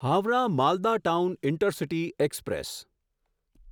Howrah Malda town intercity express